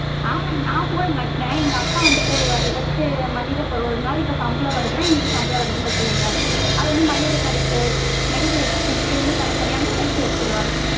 ஆமாங்க mam நா போட மாட்டேன் எங்க அப்பா வந்து போடுவாரு எதாச்சு மளிக பொருள் சம்பளம் வருதுனா இன்னைக்கு சம்பளம் வருதுனு வச்சிகங்களே, அது வந்து மளிகை கடைக்கு medical expense கு இது மாதிரி தனி தனியா வந்து பிரிச்சு வச்சிருவாரு.